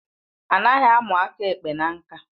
Anaghị amu aka ekpe na ṅka